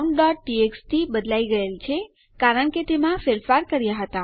countટીએક્સટી બદલાઈ ગયેલ છે કારણ કે આપણે તેમાં ફેરફાર કર્યા હતા